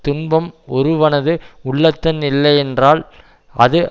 துன்பம் ஒருவனது உள்ளத்துள் இல்லை என்றால் அது